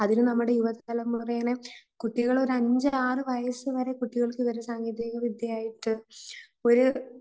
അതിന് നമ്മുടെ തലമുറയെ കുട്ടികളുടെ അഞ്ചര ആറു വയസ്സുവരെ കുട്ടികൾക്ക് വിവര സാങ്കേതിക വിദ്യ ആയിട്ട് ഒരു